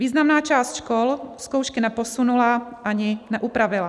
Významná část škol zkoušky neposunula ani neupravila.